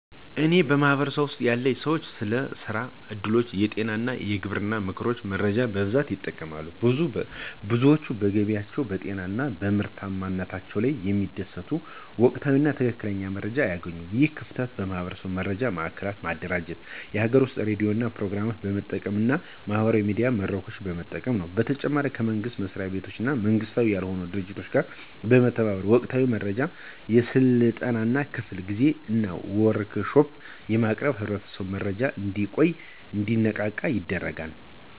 በእኔ ማህበረሰብ ውስጥ ያሉ ሰዎች ስለ የስራ እድሎች፣ የጤና እና የግብርና ምክሮች መረጃ በብዛት ይጠቀማሉ። ብዙዎች በገቢያቸው፣ በጤናቸው እና በምርታማነታቸው ላይ የሚደርሰውን ወቅታዊ እና ትክክለኛ መረጃ አያገኙም። ይህ ክፍተት የማህበረሰብ መረጃ ማዕከላትን በማደራጀት፣ የሀገር ውስጥ የሬዲዮ ፕሮግራሞችን በመጠቀም እና የማህበራዊ ሚዲያ መድረኮችን በመጠቀም ነው። በተጨማሪም ከመንግስት መሥሪያ ቤቶች እና መንግሥታዊ ያልሆኑ ድርጅቶች ጋር በመተባበር ወቅታዊ መረጃዎችን፣ የሥልጠና ክፍለ ጊዜዎችን እና ወርክሾፖችን ለማቅረብ ህብረተሰቡ በመረጃ እንዲቆይ እና እንዲነቃነቅ ይረዳል።